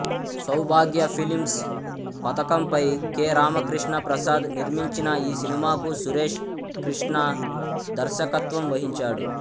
సౌభాగ్య films పతాకంపై K Ramakrishna Prasad నిర్మించిన ఈ సినిమాకు సురేష్ కృష్ణ దర్శకత్వం వహించాడు